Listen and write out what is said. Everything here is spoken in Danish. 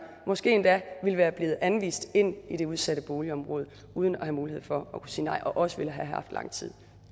måske endda ville være blevet anvist ind i det udsatte boligområde uden at have mulighed for at kunne sige nej og også ville have haft lang